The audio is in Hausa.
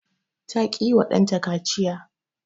ta ki yiwa ɗanta kaciya